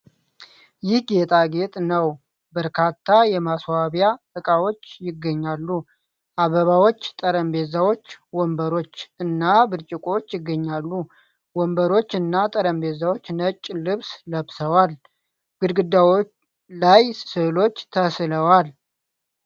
ይህ ጌጣጌጥ ነው ። በርካታ የማስዋቢያ እቃዎች ይገኛሉ ። አበባዎች ፣ ጠረጴዛዎች ፣ ወንበሮች እና ብርጭቆዎች ይገኛሉ ። ወንበሮች እና ጠረጴዛዎች ነጭ ልብስ ለብሰዋል ። ግድግዳው ላይ ስዕሎች ተስለዋል ።